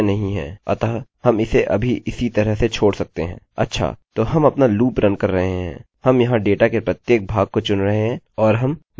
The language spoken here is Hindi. हम इस क्वेरी पर आधारित अपना डेटा एकोecho कर रहे हैं क्योंकि यह डेटा आधारित क्वेरी मेरे फर्स्टनेमfirstname और सरनेमsurname के लिए विशिष्ट है